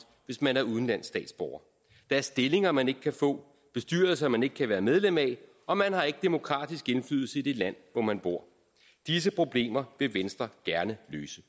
hvis man er udenlandsk statsborger der er stillinger man ikke kan få bestyrelser man ikke kan være medlem af og man har ikke demokratisk indflydelse i det land hvor man bor disse problemer vil venstre gerne løse